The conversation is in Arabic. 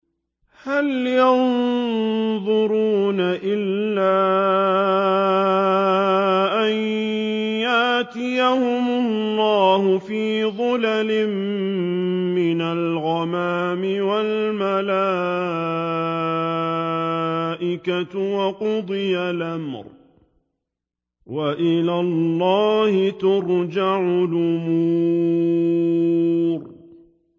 هَلْ يَنظُرُونَ إِلَّا أَن يَأْتِيَهُمُ اللَّهُ فِي ظُلَلٍ مِّنَ الْغَمَامِ وَالْمَلَائِكَةُ وَقُضِيَ الْأَمْرُ ۚ وَإِلَى اللَّهِ تُرْجَعُ الْأُمُورُ